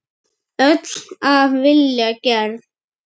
Öll af vilja gerð.